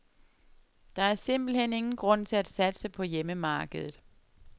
Der er simpelt hen ingen grund til at satse på hjemmemarkedet.